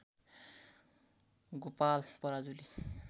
Gopal Parajuli